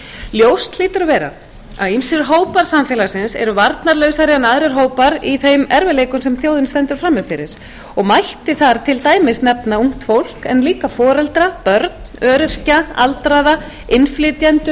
ljóst hlýtur að vera að ýmsir hópar samfélagsins eru varnarlausari en aðrir hópar í þeim erfiðleikum sem þjóðin stendur frammi fyrir og mætti þar til dæmis nefna ungt fólk en líka foreldra börn öryrkja aldraða innflytjendur